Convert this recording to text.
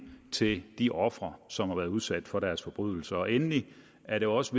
til de ofre som har været udsat for deres forbrydelser endelig er det også